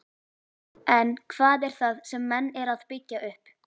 En hvað er það sem menn eru að byggja upp?